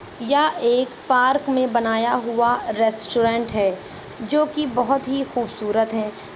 यह एक पार्क में बनाया हुआ रेस्टोरेंट है जोकि बोहोत ही खूबसूरत है।